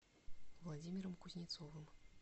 владимиром кузнецовым